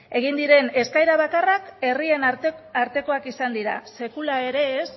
egin diren eskaera bakarrak herrien artekoak izan dira sekula ere ez